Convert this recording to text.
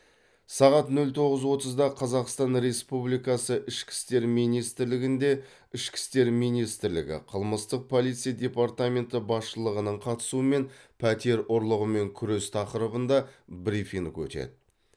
сағат нөл тоғыз отызда қазақстан республикасы ішкі істер министрлігінде ішкі істер министрлігі қылмыстық полиция департаменті басшылығының қатысуымен пәтер ұрлығымен күрес тақырыбында брифинг өтеді